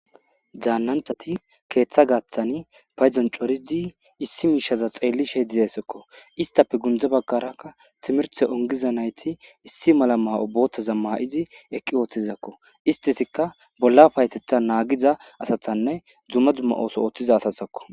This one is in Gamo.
daannanthati keeththa gaaththani payzon coridi issi miishaza xeelli she dizayssekko istappe gundze baggarakka timirte ongiza nayti issi mala maa7o boothtaza ma7izi eqqi ooththizakko istesikka bollaf haytetha naagiza asathanne dzumma dzumma ooso ooththiza asasakko